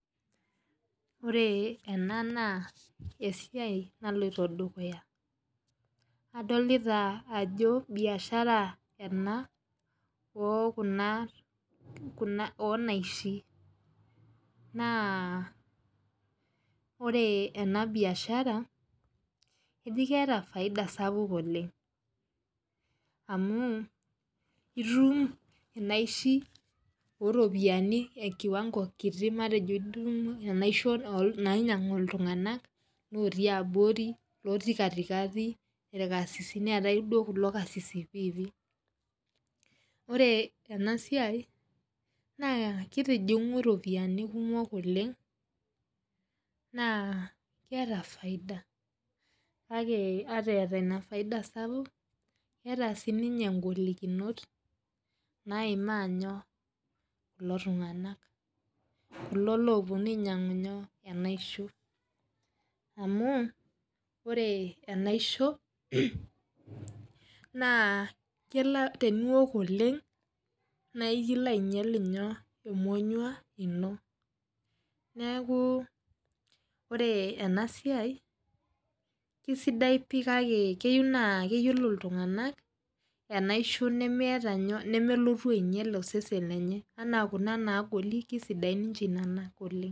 Ore ena na esiai naloito dukuya adolta ajo bishara ena onaishi, ore ena biashara na keeta faida sapuk oleng amu itumbinaishi oropiyani kiti matejo idumi inaishi nainyangu ltunganak otii abori looti katikati, irkarsisi orkarsisi piipii ore enasiai na kitijingu iropiyiani kumok oleng na keeta faida na ore eeta kunabfaida sapukbkeeta sinye ngolikinot kulo oponu ainyangu enaisho amu ore enaisho na teniok oleng na ekilo ainyal emonyua ino neaku ore enasia na kesidai pii na keyieu neyiolobena nemelotu ainyal osesen lenye na kuna nagol na kesidan nona oleng.